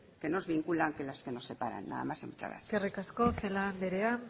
que nos vinculan que las que nos separan nada más y muchas gracias eskerrik asko celaá andrea